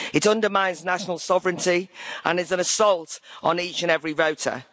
It undermines national sovereignty and is an assault on each and every voter.